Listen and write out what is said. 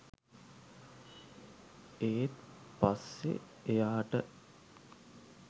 ඒත් පස්සෙ එයාට